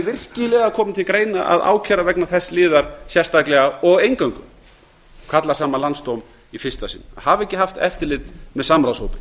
virkilega komið til greina að ákæra vegna þess liðar sérstaklega og eingöngu að kalla saman landsdóm í fyrsta sinn að hafa ekki haft eftirlit með samráðshópi